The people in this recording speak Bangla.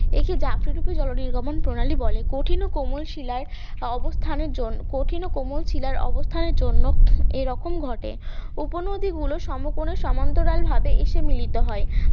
একে জাফি রুপি জলনির্গমন প্রণালী বলে, কঠিন ও কোমল শিলায় অবস্থানের জন্য কঠিন ও কোমল শিলার অবস্থানের জন্য এরকম ঘটে উপনদী গুলো সমান্তরাল ভাবে মিলিত হয়